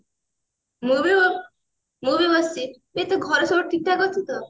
ମୁଁ ବି ବ ମୁଁ ବି ବସିଛି ଏ ତୋ ଘରେ ସବୁ ଠିକ ଠାକ ଅଛି ତ